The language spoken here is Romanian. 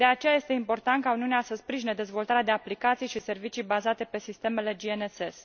De aceea, este important ca Uniunea să sprijine dezvoltarea de aplicații și servicii bazate pe sistemele GNSS.